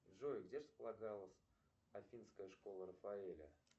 джой где располагалась афинская школа рафаэля